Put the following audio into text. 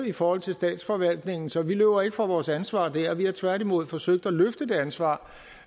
i forhold til statsforvaltningen så vi løber ikke fra vores ansvar der vi har tværtimod forsøgt at løfte det ansvar